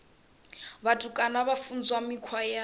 vhutukani vha funzwa mikhwa ya